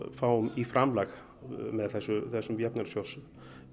fáum í framlag með þessum þessum